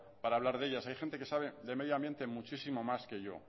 para hablar de ellas hay gente que sabe de medioambiente muchísimo más que yo